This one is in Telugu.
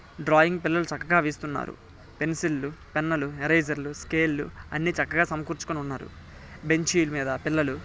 డ్రాయింగ్ పిల్లలు చక్కగా వేస్తున్నారు. పెన్సిల్ లు పెన్ లు ఎరసర్ లు స్కేలు లు అన్నీ చక్కగా సమకూర్చుకొని ఉన్నారు. బెంచీలు మీధ పిల్లలు --